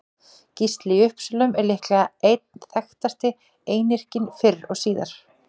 Gísli í Uppsölum er líklega einn þekktasti einyrkinn fyrr og síðar.